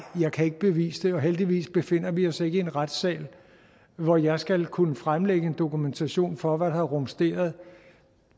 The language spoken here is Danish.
jeg kan ikke bevise det og heldigvis befinder vi os ikke i en retssal hvor jeg skal kunne fremlægge en dokumentation for hvad der har rumsteret